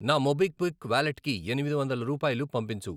నా మోబిక్విక్ వాలెట్కి ఎనిమిది వందల రూపాయలు పంపించు.